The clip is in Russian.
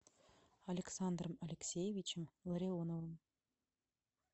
александром алексеевичем ларионовым